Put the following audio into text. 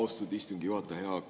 Austatud istungi juhataja!